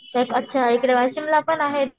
अच्छा इकडे वाशिमलापण आहेच.